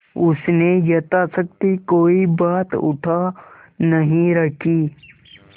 उसने यथाशक्ति कोई बात उठा नहीं रखी